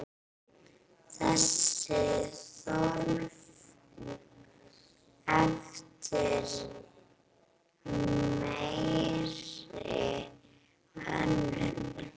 Þessi þörf eftir meiri hönnun.